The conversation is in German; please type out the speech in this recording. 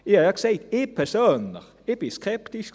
Ich habe es ja gesagt, ich persönlich war skeptisch.